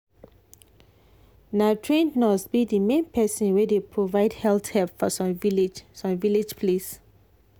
na trained nurse be the main person wey dey provide health help for some village some village place.